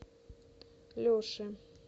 леши